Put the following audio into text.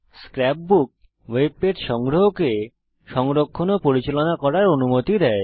scrap বুক web page সংগ্রহকে সংরক্ষণ ও পরিচালনা করার অনুমতি দেয়